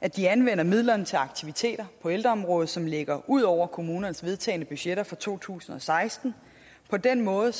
at de anvender midlerne til aktiviteter på ældreområdet som ligger ud over kommunernes vedtagne budgetter for to tusind og seksten på den måde